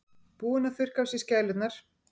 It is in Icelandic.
Búinn að þurrka af sér skælurnar.